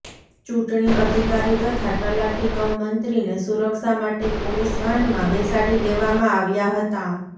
ચૂંટણી અધિકારી તથા તલાટી કમ મંત્રીને સુરક્ષા માટે પોલીસ વાનમાં બેસાડી દેવામાં આવ્યા હતા